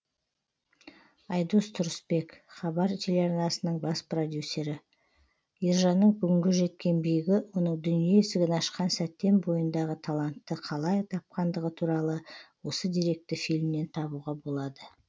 айдос тұрысбек хабар телеарнасының бас продюсері ержанның бүгінгі жеткен биігі оның дүние есігін ашқан сәттен бойындағы талантты қалай тапқандығы туралы осы деректі фильмнен табуға болады